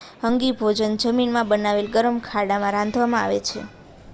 hangi ભોજન જમીનમાં બનાવેલા ગરમ ખાડામાં રાંધવામાં આવે છે